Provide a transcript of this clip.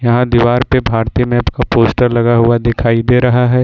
यहां दीवार पे भारतीय मैप का पोस्टर लगा हुआ दिखाई दे रहा है।